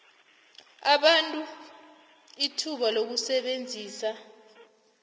abantu ithuba lokusebenzisa